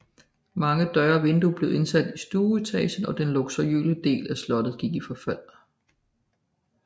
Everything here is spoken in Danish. Mange døre og vinduer blev indsat i stueetagen og den luksuriøse del af slottet gik i forfald